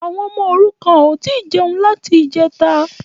Àwọn ọmọ òrukàn ò tí ì jẹnu láti ìjẹta